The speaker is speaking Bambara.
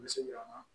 N bɛ segi a kan